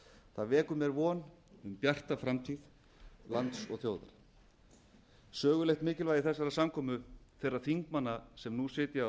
það vekur mér von um bjarta framtíð lands og þjóðar sögulegt mikilvægi þessarar samkomu þeirra þingmanna sem nú sitja